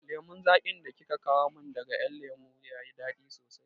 Lemon zaƙin da kika kawo min daga ƴan lemo ya yi daɗi sosai